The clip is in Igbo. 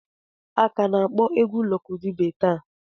A ka na-akpọ egwu Lọki Dube taa.